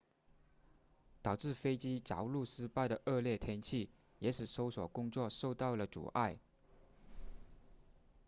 导致飞机着陆失败的恶劣天气也使搜索工作受到了阻碍